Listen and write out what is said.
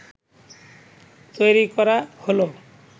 তৈরি করা হলো